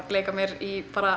leika mér í bara